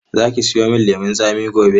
Za ki siyo min lemun tsami gobe.